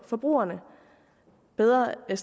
forbrugerne bedre end